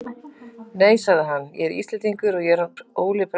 Nei, sagði hann,-ég er Íslendingur, ég er hann Óli prestur í Laufási.